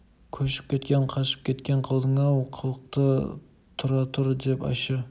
көшіп кеткен қашып кеткен қылдың-ау қылықты тұра тұр деп ащы